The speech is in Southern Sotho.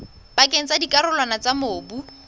pakeng tsa dikarolwana tsa mobu